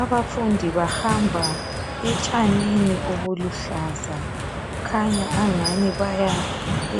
Abafundi bahamba etshanini obuluhlaza kukhanya engani baya